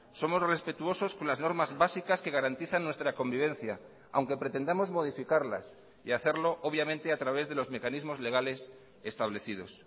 somos respetuosos con las normas básicas que garantizan nuestra convivencia aunque pretendamos modificarlas y hacerlo obviamente a través de los mecanismos legales establecidos